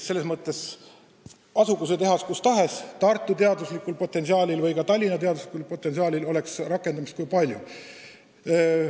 Selles mõttes asugu see tehas kus tahes, Tartu ja Tallinna teaduslikul ressursil oleks rakendust kui palju.